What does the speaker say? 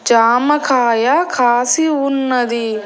జామకాయ కాసి ఉన్నది.